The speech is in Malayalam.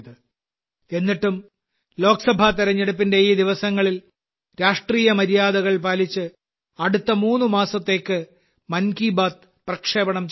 എന്നിട്ടും ലോക്സഭാ തെരഞ്ഞെടുപ്പിന്റെ ഈ ദിവസങ്ങളിൽ രാഷ്ട്രീയ മര്യാദകൾ പാലിച്ച് അടുത്ത മൂന്ന് മാസത്തേക്ക് മൻ കി ബാത്ത് പ്രക്ഷേപണം ചെയ്യുന്നതല്ല